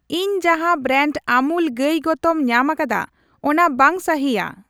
ᱤᱧ ᱡᱟᱦᱟᱸ ᱵᱨᱟᱱᱰ ᱟᱢᱩᱞ ᱜᱟᱹᱭ ᱜᱚᱛᱚᱢ ᱧᱟᱢᱟᱠᱟᱫᱟ ᱚᱱᱟ ᱵᱟᱝ ᱥᱟᱹᱦᱤᱭᱟ ᱾